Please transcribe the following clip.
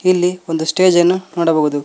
ಇಲ್ಲಿ ಒಂದು ಸ್ಟೇಜ್ ಅನ್ನು ನೋಡಬಹುದು.